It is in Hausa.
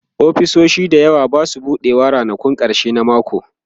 ofisoshi da yawa Basu buɗewa ranakun karshen mako